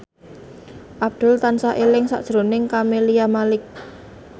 Abdul tansah eling sakjroning Camelia Malik